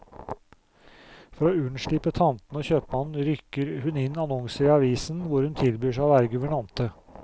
For å unnslippe tantene og kjøpmannen, rykker hun inn annonser i avisen hvor hun tilbyr seg å være guvernante.